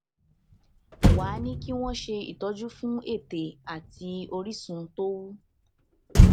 wá a ní kí wón ṣe ìtọjú fún ètè àti orísun tó wú